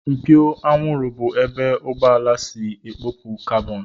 Mpio anwụrụ bụ ebe ụgbọala si ekupu kabọn